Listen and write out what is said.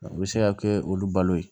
O bɛ se ka kɛ olu balo ye